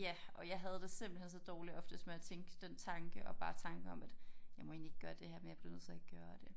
Ja og jeg havde det simpelthen så dårligt oftest med at tænke den tanke og bare tanken om at jeg må egentlig ikke gøre det her men jeg bliver nødt til at gøre det